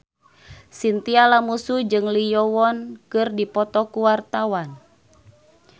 Chintya Lamusu jeung Lee Yo Won keur dipoto ku wartawan